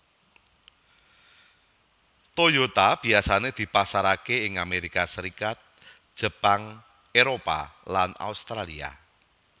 Toyota biyasané dipasaraké ing Amerika Serikat Jepang Éropah lan Australia